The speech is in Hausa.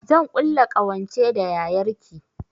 Zan ƙulla ƙawance da yayar ki